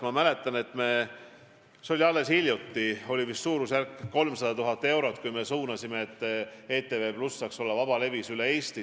Ma mäletan, et alles hiljuti me eraldasime suurusjärgus 300 000 eurot, et ETV+ saaks olla vabalevis üle Eesti.